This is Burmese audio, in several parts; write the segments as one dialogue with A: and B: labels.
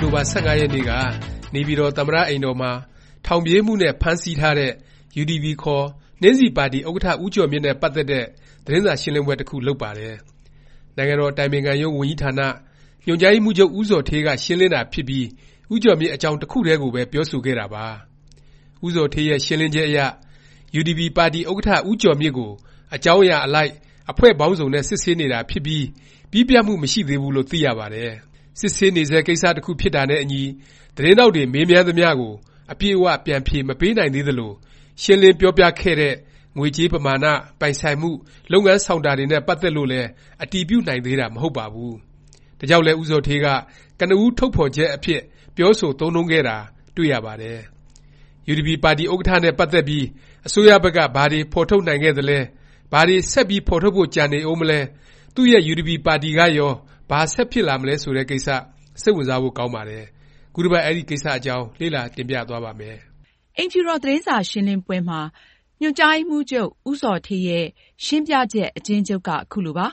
A: ်တိုဘာ ၁၅ ရက်နေ့က နေပြည်တော် သမ္မတ အိမ်တော်မှာ ထောင်ပြေးမှုနဲ့ ဖမ်းဆီးထားတဲ့ UDP ခေါ် နှင်းဆီပါတီ ဥက္ကဌ ဦးကျော်မြင့်နဲ့ ပတ်သက်တဲ့ သတင်းစာရှင်းလင်းပွဲ တစ်ခု လုပ်ပါတယ်။ နိုင်ငံတော် အတိုင်ပင်ခံရုံး ဝန်ကြီးဌာန ညွှန်ကြားရေးမှူးချုပ် ဦးဇော်ဌေးက ရှင်းလင်းတာ ဖြစ်ပြီး ဦးကျော်မြင့် အကြောင်း တစ်ခုတည်းကိုပဲ ပြောဆိုခဲ့တာပါ။ ဦးဇော်ဌေးရဲ့ ရှင်းလင်းချက်အရ UDP ပါတီဥက္ကဌ ဦးကျော်မြင့်ကို အကြောင်းအရာ အလိုက် အဖွဲ့ပေါင်းစုံနဲ့ စစ်ဆေးနေတာ ဖြစ်ပြီး၊ ပြီးပြတ်မှု မရှိသေးဘူးလို့ သိရပါတယ်။ စစ်ဆေးနေဆဲ ကိစ္စ တစ်ခု ဖြစ်တာနဲ့အညီ သတင်းထောက်တွေ မေးမြန်းသမျှကို အပြည့်အ၀ ပြန်ဖြေ မပေးနိုင်သေးသလို၊ ရှင်းလင်း ပြောပြခဲ့တဲ့ ငွေကြေးပမာဏ၊ ပိုင်ဆိုင်မှု၊ လုပ်ငန်းဆောင်တာ တွေနဲ့ ပတ်သက်လို့လည်း အတည်ပြုနိုင်သေးတာ မဟုတ်ပါဘူး။ ဒါကြောင့်လည်း ဦးဇော်ဌေးက ကနဦးထုတ်ဖော်ချက် အဖြစ် ပြောဆို သုံးနှုန်းခဲ့တာ ဖြစ်ပါတယ်။ UDP ပါတီဥက္ကဌ နဲ့ ပတ်သက်ပြီး အစိုးရဘက်က ဘာတွေ ဖော်ထုတ်နိုင်ခဲ့သလဲ၊ ဘာတွေ ဆက်ပြီး ဖော်ထုတ်ဖို့ ကျန်နေဦးမလဲ၊ သူ့ရဲ့ UDP ပါတီကရော ဘာ ဆက်ဖြစ်လာမလဲ ဆိုတဲ့ ကိစ္စ စိတ်ဝင်စားဖို့ ကောင်းပါတယ်။ ခုတစ်ပတ် အဲဒီ ကိစ္စအကြောင်း လေ့လာ တင်ပြသွားပါ့မယ်
B: ။ အိမ်တော် သတင်းစာရှင်းလင်းပွဲမှာ ညွှန်ကြားရေးမှူးချုပ် ဦးဇော်ဌေးရဲ့ ရှင်းပြချက် အကျဉ်းချုပ်က ခုလိုပါ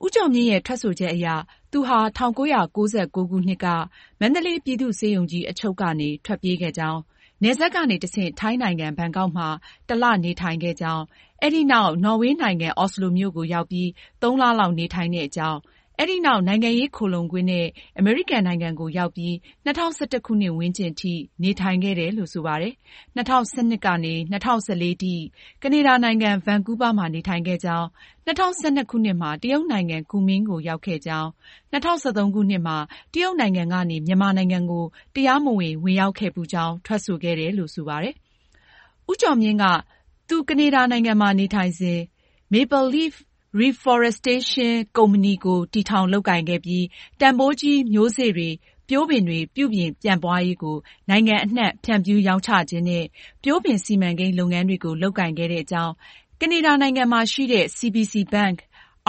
B: ။ ဦးကျော်မြင့်ရဲ့ ထွက်ဆိုချက်အရ သူဟာ ၁၉၉၉ ခုနှစ်က မန္တလေး ပြည်သူ့ဆေးရုံကြီး အချုပ်ကနေ ထွက်ပြေးခဲ့ကြောင်း၊ နယ်စပ်ကနေ တဆင့် ထိုင်းနိုင်ငံ ဘန်ကောက်မှာ တစ်လ နေထိုင်ခဲ့ကြောင်း၊ အဲဒီနောက် နော်ဝေနိုင်ငံ အော်စလိုမြို့ကို ရောက်ပြီး ၃ လလောက် နေထိုင်တဲ့အကြောင်း၊ အဲဒီနောက် နိုင်ငံရေး ခိုလှုံခွင့်နဲ့ အမေရိကန် နိုင်ငံကို ရောက်ပြီး ၂၀၁၁ ခုနှစ်ဝန်းကျင်အထိ နေထိုင်ခဲ့တယ်လို့ ဆိုပါတယ်။ ၂၀၁၂ ခုနှစ်ကနေ ၂၀၁၄ ခုနှစ် ကနေဒါနိုင်ငံ ဗန်ကူးဗားမှာ နေထိုင်ခဲ့ကြောင်း၊ ၂၀၁၂ ခုနှစ်မှာ တရုတ်နိုင်ငံ ကူမင်းကို ရောက်ခဲ့ကြောင်း၊ ၂၀၁၃ ခုနှစ်မှာ တရုတ်နိုင်ငံကနေ မြန်မာနိုင်ငံကို တရားမဝင် ဝင်ရောက်ခဲ့ဖူးကြောင်း ထွက်ဆိုတယ်လို့ ဆိုပါတယ်။ ဦးကျော်မြင့်က သူ ကနေဒါနိုင်ငံမှာ နေထိုင်စဉ် Maple leaf Reforestation Inc Co., Ltd. တည်ထောင်လုပ်ကိုင်ခဲ့ပြီး တန်ဘိုးကြီး မျိုးစေ့တွေ၊ ပျိုးပင်တွေ ပြုပြင် ပြန့်ပွားရေးကို နိုင်ငံအနှံ့ ဖြန့်ဖြူးရောင်းချခြင်းနဲ့ ပျိုးပင် စီမံကိန်း လုပ်ငန်းတွေ လုပ်ကိုင်ခဲ့တဲ့အကြောင်း၊ ကနေဒါနိုင်ငံရှိ CBC Bank,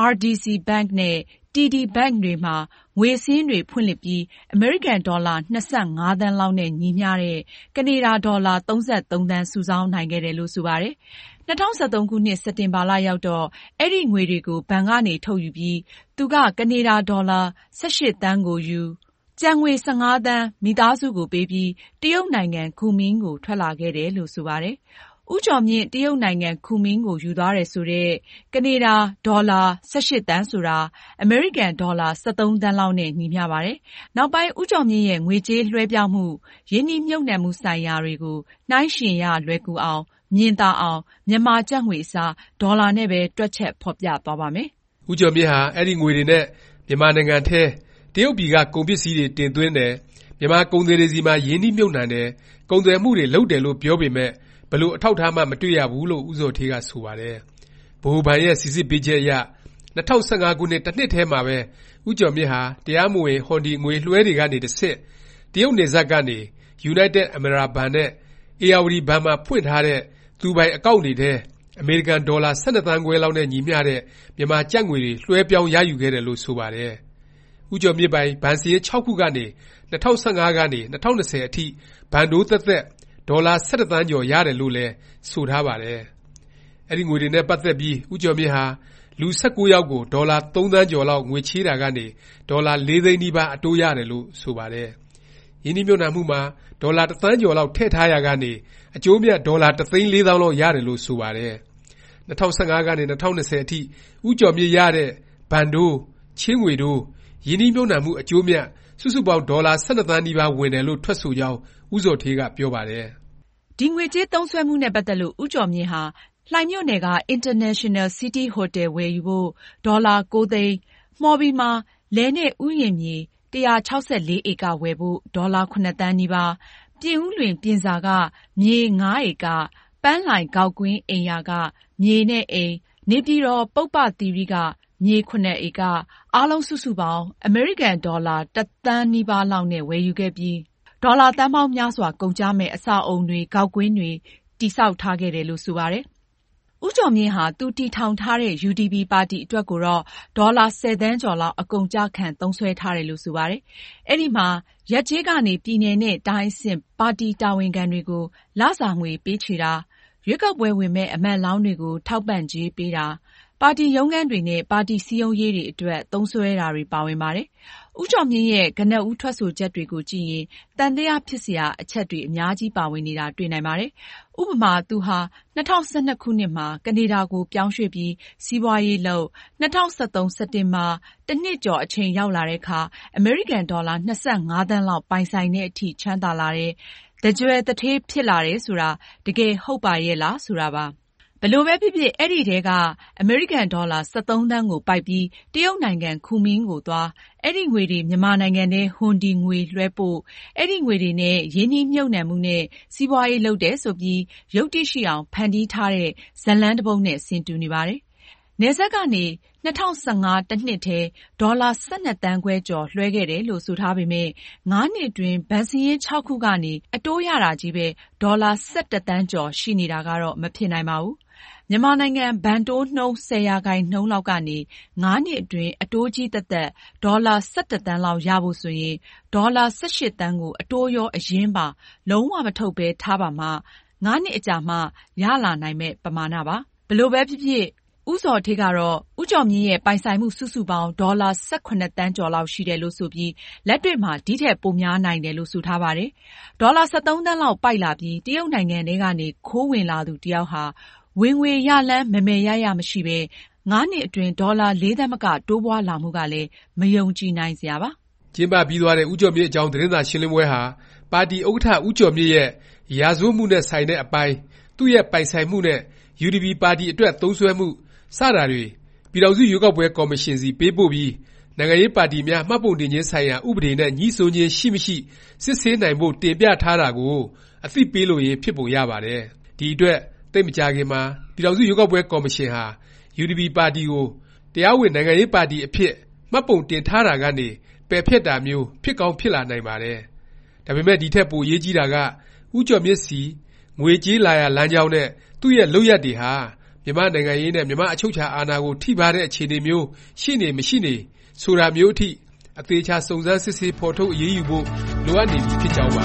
B: RDC Bank နဲ့ TD Bank တွေမှာ ငွေစာရင်းတွေ ဖွင့်လှစ်ပြီး အမေရိကန်ဒေါ်လာ ၂၅ သန်းလောက်နဲ့ ညီမျှတဲ့ ကနေဒါ ဒေါ်လာ ၃၃ သန်း စုဆောင်းနိုင်ခဲ့တယ်လို့ ဆိုပါတယ်။ ၂၀၁၃ စက်တင်ဘာ ရောက်တော့ အဲဒီငွေတွေကို ဘဏ်ကနေ ထုတ်ယူပြီး သူက ကနေဒါဒေါ်လာ ၁၈ သန်းကိုယူ၊ ကျန်ငွေ ၁၅ သန်း မိသားစုကိုပေးပြီး တရုတ်နိုင်ငံ ကူမင်းကို ထွက်လာခဲ့တယ်လို့ ဆိုပါတယ်။ ဦးကျော်မြင့် တရုတ်နိုင်ငံ ကူမင်းကို ယူသွားတယ် ဆိုတဲ့ ကနေဒါ ဒေါ်လာ ၁၈ သန်းဆိုတာ အမေရိကန် ဒေါ်လာ ၁၃ သန်းလောက်နဲ့ ညီမျှပါတယ်။ နောက်ပိုင်း ဦးကျော်မြင့်ရဲ့ ငွေကြေး လွဲှပြောင်းမှု၊ ရင်းနှီးမြှုပ်နှံမှုဆိုင်ရာတွေကို နှိုင်းယှဉ်ရ လွယ်ကူအောင်၊ မြင်သာအောင် မြန်မာ ကျပ်ငွေ အစား ဒေါ်လာနဲ့ပဲ တွက်ချက် ဖော်ပြသွားပါ့မယ်
A: ။ ဦးကျော်မြင့်ဟာ အဲဒီ ငွေတွေနဲ့ မြန်မာနိုင်ငံထဲ တရုတ်ပြည်က ကုန်ပစ္စည်းတွေ တင်သွင်းတယ်၊ မြန်မာ ကုန်သည်တွေဆီမှာ ရင်းနှီးမြှုပ်နှံတယ်၊ ကုန်သွယ်မှုတွေ လုပ်တယ်လို့ ပြောပေမယ့် ဘယ်လို အထောက်အထားမှ မတွေ့ရဘူးလို့ ဦးဇော်ဌေးက ဆိုပါတယ်။ ဗဟိုဘဏ်ရဲ့ စိစစ်ပေးချက်အရ ၂၀၁၅ ခုနှစ် တစ်နှစ်ထဲမှာပဲ ဦးကျော်မြင့်ဟာ တရားမဝင် ဟွန်ဒီ ငွေလွဲှတွေကနေ တဆင့် တရုတ်နယ်စပ်ကနေ ယူနိုက်တက် အမရာဘဏ်နဲ့ ဧရာဝတီ ဘဏ်မှာ ဖွင့်ထားတဲ့ သူပိုင် အကောင့်န် တွေထဲ အမေရိကန် ဒေါ်လာ ၁၂ သန်းခွဲလောက် နဲ့ ညီမျှတဲ့ မြန်မာကျပ်ငွေတွေ လွဲှပြောင်းရယူခဲ့တယ်လို့ ဆိုပါတယ်။ ဦးကျော်မြင့်ပိုင် ဘဏ်စာရင်း ၆ ခုကနေ ၂၀၁၅ ကနေ ၂၀၂၀ အထိ ဘဏ်တိုးသက်သက် ဒေါ်လာ ၁၁ သန်းကျော် ရတယ်လို့လည်း ဆိုထားပါတယ်။ အဲဒီငွေတွေနဲ့ ပတ်သက်ပြီး ဦးကျော်မြင့်ဟာ လူ- ၁၉ ယောက်ကို ဒေါ်လာ ၃ သန်းကျော်လောက် ငွေချေးတာကနေ ဒေါ်လာ ၄ သိန်းနီးပါး အတိုးရတယ်လို့ ဆိုပါတယ်။ ရင်းနှီးမြှုပ်နှံမှုမှာ ဒေါ်လာ ၁ သန်းကျော်လောက် ထည့်ထားရာကနေ အကျိုးအမြတ် ဒေါ်လာ ၁ သိန်း ၄ သောင်းလောက် ရတယ်လို့ ဆိုပါတယ်။ ၂၀၁၅ ကနေ ၂၀၂၀ အထိ ဦးကျော်မြင့်ရတဲ့ ဘဏ်တိုး၊ ချေးငွေတိုး၊ ရင်းနှီးမြှုပ်နှံမှု အကျိုးအမြတ် စုစုပေါင်း ဒေါ်လာ ၁၂ သန်းနီးပါး ဝင်တယ်လို့ ထွက်ဆိုကြောင်း ဦးဇော်ဌေးက ပြောပါတယ်
B: ။ ငွေကြေး သုံးစွဲမှုနဲ့ ပတ်သက်လို့ ဦးကျော်မြင့်ဟာ လှိုင်မြို့နယ်က အင်တာနေရှင်နယ် စီးတီးဟိုတယ် ဝယ်ယူဖို့ ဒေါ်လာ ၉ သိန်း၊ မှော်ဘီမှာ လယ်နဲ့ ဥယျာဉ်မြေ ၁၆၄ ဧက ဝယ်ဖို့ ဒေါ်လာ ၇ သန်းနီးပါး၊ ပြင်ဦးလွင် ပြင်စာက မြေ ၅ ဧက၊ ပန်းလှိုင် ဂေါက်ကွင်းအိမ်ယာက မြေနဲ့အိမ်၊ နေပြည်တော် ပုဗ္ဗသီရိက မြေ ၇ ဧက၊ အားလုံး စုစုပေါင်း အမေရိကန် ဒေါ်လာ ၁ သန်းနီးပါး လောက်နဲ့ ဝယ်ယူခဲ့ပြီး ဒေါ်လာ သန်းပေါင်းများစွာ ကုန်ကျမယ့် အဆောက်အဦတွေ ဂေါက်ကွင်းတွေ တည်ဆောက်ထားခဲ့တယ်လို့ ဆိုပါတယ်။ ဦးကျော်မြင့်ဟာ သူတည်ထောင်ထားတဲ့ UDP ပါတီ အတွက်ကိုတော့ ဒေါ်လာ ၁၀ သန်းကျော်လောက် အကုန်အကျခံ သုံးစွဲထားတယ်လို့ ဆိုပါတယ်။ အဲဒီမှာ ရပ်ကျေး ကနေ ပြည်နယ်နဲ့ တိုင်းအဆင့် ပါတီ တာဝန်ခံတွေကို လစာငွေ ပေးချေတာ၊ ရွေးကောက်ပွဲဝင်မယ့် အမတ်လောင်းတွေကို ထောက်ပံ့ကြေးပေးတာ၊ ပါတီ ရုံးခန်းတွေနဲ့ ပါတီ စည်းရုံးရေးတွေ အတွက် သုံးစွဲတာတွေ ပါဝင်ပါတယ်။ ဦးကျော်မြင့်ရဲ့ ကနဦး ထွက်ဆိုချက်တွေကိုကြည့်ရင် သံသယ ဖြစ်စရာ အချက် အများကြီး ပါဝင်နေတာ တွေ့နိုင်ပါတယ်။ ဥပမာ- သူဟာ ၂၀၁၂ မှာ ကနေဒါကို ပြောင်းရွှေ့ပြီး စီးပွားရေးလုပ်၊ ၂၀၁၃ စက်တင်ဘာ ၁ နှစ်ကျော် အချိန်ရောက်လာတဲ့အခါ အမေရိကန်ဒေါ်လာ ၂၅ သန်းလောက် ပိုင်ဆိုင်သည် အထိ ချမ်းသာလာတယ်၊ သန်းကြွယ် သူဌေးဖြစ်လာတယ် ဆိုတာ တကယ် ဟုတ်ပါရဲ့လား ဆိုတာပါ။ ဘယ်လိုပဲဖြစ်ဖြစ် အဲဒီထဲက ကန်ဒေါ်လာ ၁၃ သန်းကို ပိုက်ပြီး တရုတ်နိုင်ငံ ကူမင်းကိုသွား၊ အဲဒီ ငွေတွေ မြန်မာနိုင်ငံထဲ ဟွန်ဒီ ငွေလွဲှပို့၊ အဲဒီ ငွေတွေနဲ့ ရင်းနှီးမြှုပ်နှံမှုနဲ့ စီးပွားရေး လုပ်တယ် ဆိုပြီး ယုတ္တိရှိအောင် ဖန်တီးထားတဲ့ ဇာတ်လမ်း တစ်ပုဒ်နဲ့ ဆင်တူနေပါတယ်။ နယ်စပ်ကနေ ၂၀၁၅ တစ်နှစ်ထဲ ဒေါ်လာ ၁၂ သန်းခွဲကျော် လွဲှခဲ့တယ်လို့ ဆိုထားပေမယ့် ၅ နှစ်အတွင်း ဘဏ်စာရင်း ၆ ခုကနေ အတိုးရတာချည်းပဲ ဒေါ်လာ ၁၁ သန်းကျော် ရှိနေတာကတော့ မဖြစ်နိုင်ပါဘူး။ မြန်မာနိုင်ငံ ဘဏ်တိုးနှုန်း ၁၀% လောက်ကနေ ၅ နှစ်အတွင်း အတိုးချည်းသက်သက် ဒေါ်လာ ၁၁ သန်းလောက် ရဖို့ ဆိုရင် ဒေါ်လာ ၁၈ သန်းကို အတိုးရော၊ အရင်းပါ လုံး၀ မထုတ်ပဲ ထားပါမှ ၅နှစ်အကြာမှာ ရလာနိုင်မယ့် ပမာဏပါ။ ဘယ်လိုပဲဖြစ်ဖြစ် ဦးဇော်ဌေးကတော့ ဦးကျော်မြင့်ရဲ့ ပိုင်ဆိုင်မှု စုစုပေါင်း ဒေါ်လာ ၁၇ သန်းကျော်လောက် ရှိတယ်လို့ ဆိုပြီး လက်တွေ့မှာ ဒီထက် ပိုများနိုင်တယ်လို့ ဆိုထားပါတယ်။ ဒေါ်လာ ၁၃ သန်းလောက် ပိုက်လာပြီး တရုတ်နိုင်ငံထဲကနေ ခိုးဝင်လာသူတစ်ယောက်ဟာ ဝင်ငွေရလမ်း မယ်မယ်ရရ မရှိပဲ ၅ နှစ်အတွင်း ဒေါ်လာ ၄ သန်းမက တိုးပွားလာမှုကလည်း မယုံကြည်နိုင်စရာပါ
A: ။ ကျင်းပပြီးသွားတဲ့ ဦးကျော်မြင့်အကြောင်း သတင်းစာရှင်းလင်းပွဲဟာ ပါတီ ဥက္ကဌ ဦးကျော်မြင့်ရဲ့ ရာဇဝတ်မှုနဲ့ ဆိုင်တဲ့အပိုင်း၊ သူ့ရဲ့ ပိုင်ဆိုင်မှုနဲ့ UDP ပါတီ အတွက် သုံးစွဲမှု စတာတွေ ပြည်ထောင်စု ရွေးကောက်ပွဲ ကော်မရှင်ဆီ ပေးပို့ပြီး နိုင်ငံရေးပါတီများ မှတ်ပုံတင်ခြင်း ဆိုင်ရာ ဥပဒေ နဲ့ ငြိစွန်းခြင်း ရှိမရှိ စစ်ဆေးနိုင်ဖို့ တင်ပြထားတာကို အသိပေးလိုရင်း ဖြစ်ပုံရပါတယ်။ ဒီအတွက် သိပ်မကြာခင်မှာ ပြည်ထောင်စု ရွေးကောက်ပွဲ ကော်မရှင်ဟာ UDP ပါတီကို တရားဝင် နိုင်ငံရေးပါတီ အဖြစ် မှတ်ပုံတင်ထားတာကနေ ပယ်ဖျက်တာမျိုး ဖြစ်ကောင်း ဖြစ်လာနိုင်ပါတယ်။ ဒါပေမယ့် ဒီထက် ပိုအရေးကြီးတာက ဦးကျော်မြင့်ဆီ ငွေကြေး လာရာလမ်းကြောင်းနဲ့ သူ့ရဲ့ လုပ်ရပ်တွေဟာ မြန်မာ့နိုင်ငံရေးနဲ့ မြန်မာ့ အချုပ်အခြာအာဏာကို ထိပါးတဲ့ အခြေအနေမျိုး ရှိနေ၊ မရှိနေ ဆိုတာမျိုးအထိ အသေအခြာ စုံစမ်းစစ်ဆေး၊ဖော်ထုတ် အရေးယူဖို့ လိုအပ်နေပြီ ဖြစ်ကြောင်းပါ